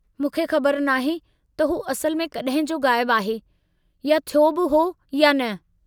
मूंखे ख़बर नाहे त हू असुलु में कड॒हिं जो ग़ायबु आहे या थियो बि हो या न.